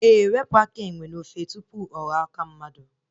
Ee, wepụ aka enwe n'ofe tupu ọ ghọrọ aka mmadụ